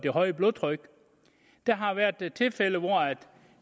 højt blodtryk der har været tilfælde hvor